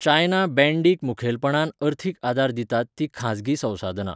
China बँडीक मुखेलपणान अर्थीक आदार दितात तीं खाजगी संसाधनां.